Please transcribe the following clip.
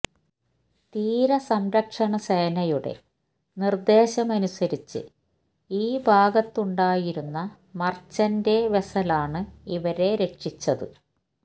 തീരസംരക്ഷണ സേനയുടെ നിർദേശമനുസരിച്ച് ഈ ഭാഗത്തുണ്ടായിരുന്ന മർച്ചന്റെ വെസലാണ് ഇവരെ രക്ഷിച്ചത്